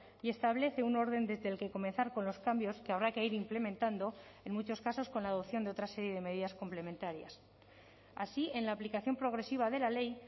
y establece un orden desde el que comenzar con los cambios que habrá que ir implementando en muchos casos con la adopción de otra serie de medidas complementarias así en la aplicación progresiva de la ley